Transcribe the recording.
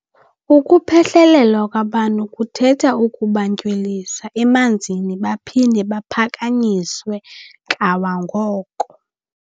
Ukuphehlelelwa kwabantu kuthetha ukubantywilisa emanzini baphinde baphakanyiswe kawangoko.